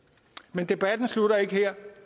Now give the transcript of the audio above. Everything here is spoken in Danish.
men debatten slutter ikke her